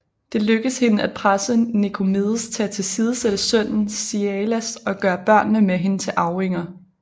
Det lykkedes hende at presse Nikomedes til at tilsidesætte sønnen Ziaelas og gøre børnene med hende til arvinger